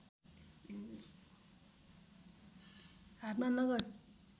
हातमा नगद